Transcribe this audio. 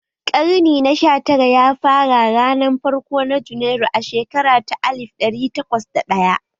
Karnin na sha tara ya fara a ranar farko na Junairu a shekara ta alif ɗari takwas da ɗaya